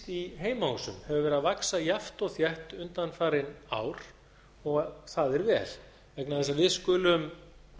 í heimahúsum hefur verið að vaxa jafnt og þétt undanfarin ár og það er vel vegna þess að við skulum